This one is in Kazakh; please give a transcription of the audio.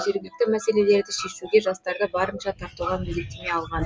жергілікті мәселелерді шешуге жастарды барынша тартуға міндеттеме алған